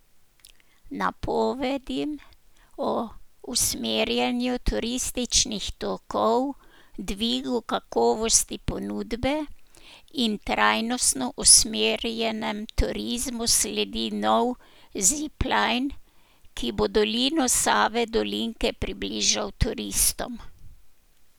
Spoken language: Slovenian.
Napovedim o usmerjanju turističnih tokov, dvigu kakovosti ponudbe in trajnostno usmerjenem turizmu sledi nov zipline, ki bo dolino Save Dolinke približal turistom.